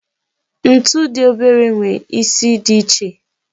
Ntu di obere nwere isi di iche.